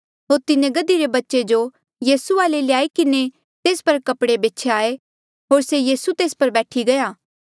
होर तिन्हें गधी रे बच्चे जो यीसू वाले ल्याई किन्हें तेस पर कपड़े ब्छ्याये होर से यीसू तेस पर बैठी गया